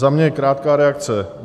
Za mě krátká reakce.